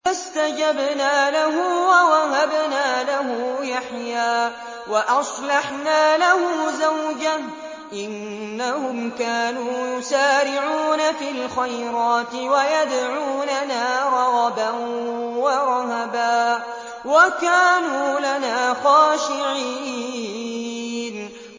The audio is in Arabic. فَاسْتَجَبْنَا لَهُ وَوَهَبْنَا لَهُ يَحْيَىٰ وَأَصْلَحْنَا لَهُ زَوْجَهُ ۚ إِنَّهُمْ كَانُوا يُسَارِعُونَ فِي الْخَيْرَاتِ وَيَدْعُونَنَا رَغَبًا وَرَهَبًا ۖ وَكَانُوا لَنَا خَاشِعِينَ